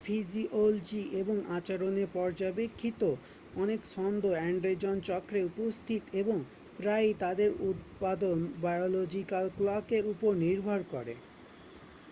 physiology এবং আচরনের পর্যাবেক্ষিত অনেক ছন্দ এন্ডেজন চক্রে উপস্থিত এবং প্রায়ই তাদের উৎপাদন বায়োলজিক্যাল ক্লকের উপর নির্ভর করে